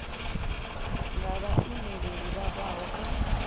nga vhaimeleli vha bvaho kha